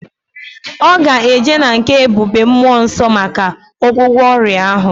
Oga eje na nke ebube mmuo nso maka ogwugwo oria ahu